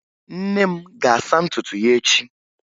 Nne m ga-asa ntutu ya echi